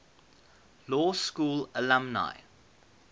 law school alumni